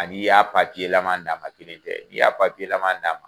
Ani n'i y'a papiyelama d'a ma kelen tɛ i y'a papiyelama d'a ma